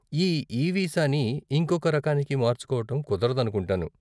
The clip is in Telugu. ఈ ఈ వీసాని ఇంకొక రకానికి మార్చుకోవటం కుదరదనుకుంటాను.